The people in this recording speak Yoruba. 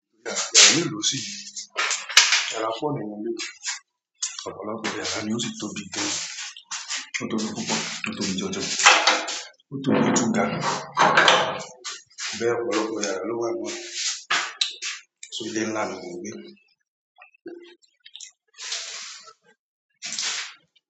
Ó sì, ara fóònù leléyìí. Ọ̀pọ̀lọpọ̀ yàrá ni ó sì tóbi gan-an. Ó tóbi púpọ̀, ó tóbi jọjọ. Ó tóbi ju gàlò. Bẹ́ẹ̀, ọ̀pọ̀lọpọ̀ yàrá ló wà níbẹ̀. So, ilé ńlá ni mò ń gbé.